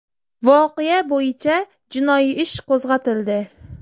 Voqea bo‘yicha jinoiy ish qo‘zg‘atildi.